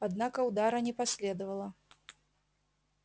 однако удара не последовало